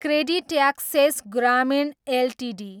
CreditAccess Grameen Ltd